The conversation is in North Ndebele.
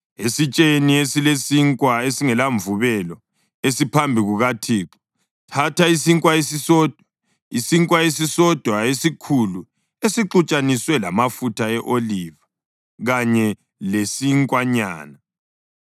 Esitsheni esilesinkwa esingelamvubelo esiphambi kukaThixo, thatha isinkwa esisodwa, isinkwa esisodwa esikhulu esixutshaniswe lamafutha e-oliva kanye lesinkwanyana.